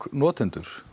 notendur